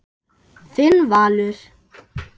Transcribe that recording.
Þinn Valur.